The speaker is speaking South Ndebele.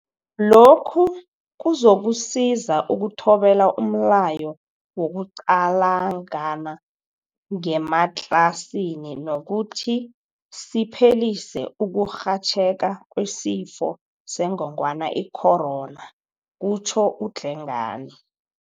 Lokhu kuzokusiza ukuthobela umlayo wokuqalangana ngematlasini nokuthi siphelise ukurhatjheka kweSifo sengongwana i-Corona, kutjho uDlengane.